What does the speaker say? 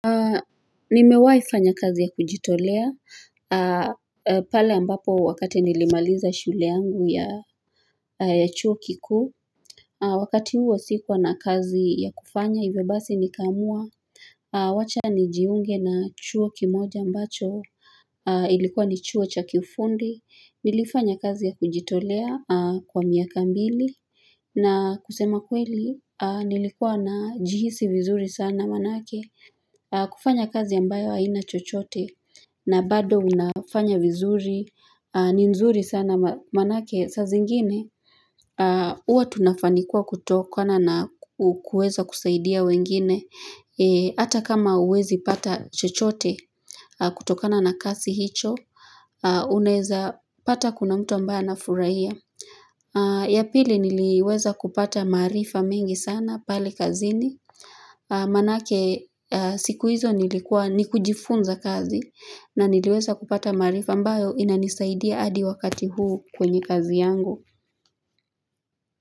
Nimewai fanya kazi ya kujitolea, pale ambapo wakati nilimaliza shule yangu ya chuo kikuu Wakati huo sikuwa na kazi ya kufanya hivyo basi nikaamua, wacha nijiunge na chuo kimoja ambacho Ilikuwa ni chuo cha kifundi, nilifanya kazi ya kujitolea kwa miaka mbili na kusema kweli, nilikuwa najihisi vizuri sana manake kufanya kazi ambayo haina chochote na bado unafanya vizuri ni nzuri sana manake sa zingine Uwa tunafanikwa kutokana kueza kusaidia wengine Ata kama huwezi pata chochote kutokana na kasi hicho Unaeza pata kuna mtu ambaye anafuraia ya pili niliweza kupata maarifa mingi sana pale kazini Manake siku hizo nilikuwa ni kujifunza kazi na niliweza kupata maarifa ambayo inanisaidia adi wakati huu kwenye kazi yangu.